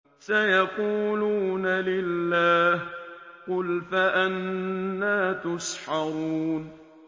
سَيَقُولُونَ لِلَّهِ ۚ قُلْ فَأَنَّىٰ تُسْحَرُونَ